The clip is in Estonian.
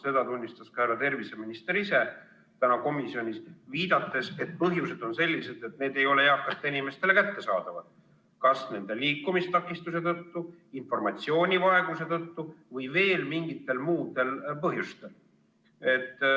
Seda tunnistas ka härra terviseminister ise täna komisjonis, viidates, et põhjused on sellised, et vaktsiin ei ole eakatele inimestele kättesaadav kas nende liikumistakistuse tõttu, informatsioonivaeguse tõttu või veel mingitel muudel põhjustel.